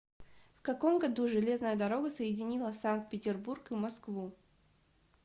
в каком году железная дорога соединила санкт петербург и москву